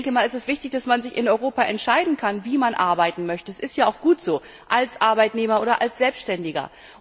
Es ist wichtig, dass man sich in Europa entscheiden kann, wie man arbeiten möchte das ist ja auch gut so als Arbeitnehmer oder als Selbständiger.